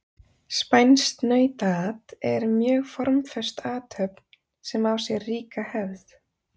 spænskt nautaat er mjög formföst athöfn sem á sér ríka hefð